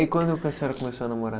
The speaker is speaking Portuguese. E quando que a senhora começou a namorar?